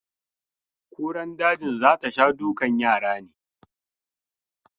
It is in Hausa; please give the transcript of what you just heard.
Kuran dajin za ta sha dukan yara ne?